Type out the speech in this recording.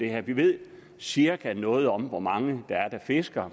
her vi ved cirka noget om hvor mange der fisker